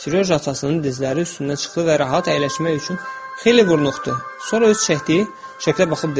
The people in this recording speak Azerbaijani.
Serjoja atasının dizləri üstünə çıxdı və rahat əyləşmək üçün xeyli vurnuxdu, sonra öz çəkdiyi şəklə baxıb dedi: